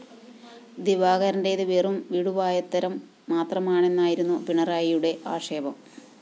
ദിവാകരന്റേത് വെറും വിടുവായത്തരം മാത്രമാണെന്നായിരുന്നു പിണറായിയുടെ ആക്ഷേപം